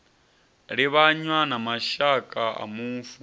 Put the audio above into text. livhanywa na mashaka a mufu